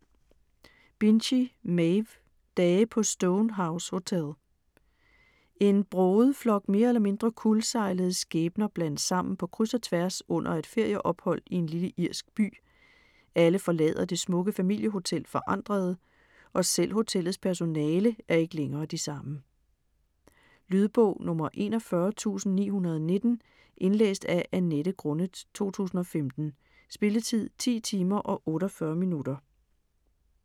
Binchy, Maeve: Dage på Stone House Hotel En broget flok mere eller mindre kuldsejlede skæbner blandes sammen på kryds og tværs under et ferieophold i en lille irsk by. Alle forlader det smukke familiehotel forandrede, og selv hotellets personale er ikke længere de samme. Lydbog 41919 Indlæst af Annette Grunnet, 2015. Spilletid: 10 timer, 48 minutter.